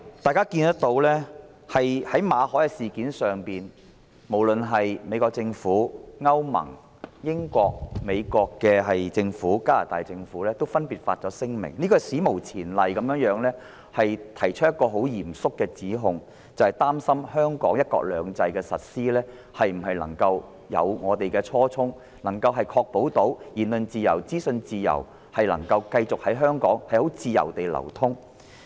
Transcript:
大家也看到，在馬凱事件上，美國政府、歐洲聯盟、英國政府及加拿大政府分別發表聲明，史無前例地提出嚴肅指控，擔心香港對"一國兩制"的實施能否貫徹初衷，確保言論自由及資訊能夠繼續在香港自由流通。